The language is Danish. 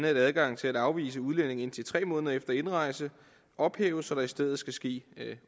at adgangen til at afvise udlændinge i indtil tre måneder efter indrejse ophæves så der i stedet skal ske